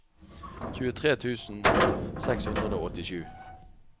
tjuetre tusen seks hundre og åttisju